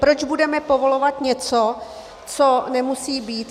Proč budeme povolovat něco, co nemusí být?